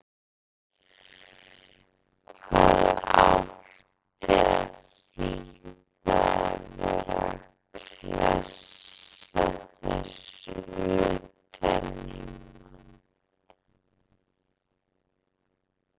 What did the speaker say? HVAÐ ÁTTI AÐ ÞÝÐA AÐ VERA AÐ KLESSA ÞESSU UTAN Í MANN!